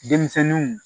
Denmisɛnninw